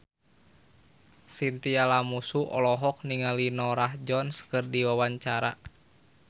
Chintya Lamusu olohok ningali Norah Jones keur diwawancara